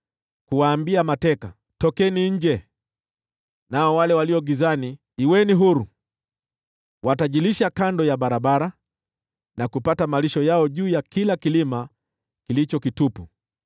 kuwaambia mateka, ‘Tokeni nje,’ nao wale walio gizani, ‘Kuweni huru!’ “Watajilisha kando ya barabara na kupata malisho yao juu ya kila kilima kilicho kitupu.